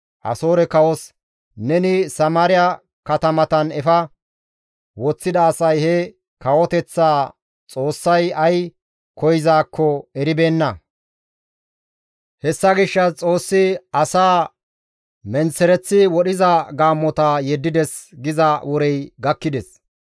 Asoore kawos, «Neni Samaariya katamatan efa woththida asay he kawoteththaa xoossay ay koyzaakko eribeenna; hessa gishshas Xoossi asaa menththereththi wodhiza gaammota yeddides» giza worey gakkides.